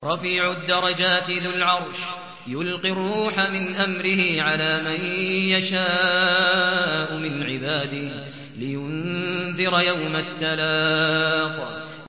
رَفِيعُ الدَّرَجَاتِ ذُو الْعَرْشِ يُلْقِي الرُّوحَ مِنْ أَمْرِهِ عَلَىٰ مَن يَشَاءُ مِنْ عِبَادِهِ لِيُنذِرَ يَوْمَ التَّلَاقِ